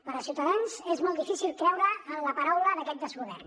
per ciutadans és molt difícil creure en la paraula d’aquest desgovern